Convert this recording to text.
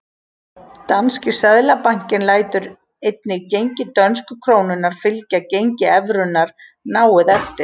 Danski seðlabankinn lætur einnig gengi dönsku krónunnar fylgja gengi evrunnar náið eftir.